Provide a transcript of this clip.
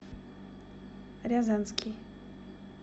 рязанский